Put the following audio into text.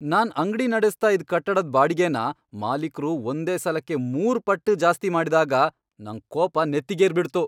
ನಾನ್ ಅಂಗ್ಡಿ ನಡೆಸ್ತಾ ಇದ್ ಕಟ್ಟಡದ್ ಬಾಡ್ಗೆನ ಮಾಲೀಕ್ರು ಒಂದೇ ಸಲಕ್ಕೆ ಮೂರ್ ಪಟ್ಟ್ ಜಾಸ್ತಿ ಮಾಡ್ದಾಗ ನಂಗ್ ಕೋಪ ನೆತ್ತಿಗೇರ್ಬಿಡ್ತು.